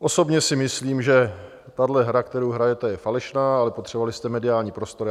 Osobně si myslím, že tahle hra, kterou hrajete, je falešná, ale potřebovali jste mediální prostor.